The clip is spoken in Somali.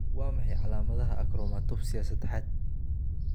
Waa maxay calaamadaha iyo calaamadaha Achromatopsia sadaxad?